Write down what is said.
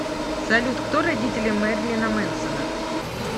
салют кто родители мэрилина мэнсона